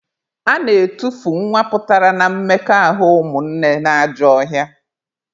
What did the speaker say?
A na-etufu nwa pụtara na mmekọahụ ụmụnne na ajọ ọhịa